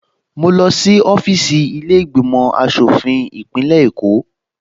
Mo lọ sí ọfíìsì ilé ìgbìmò aṣòfin ìpínlẹ̀ Èkó